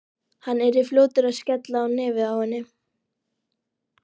Hann yrði fljótur að skella á nefið á henni.